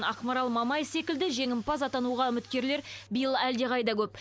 ақмарал мамай секілді жеңімпаз атануға үміткерлер биыл әлдеқайда көп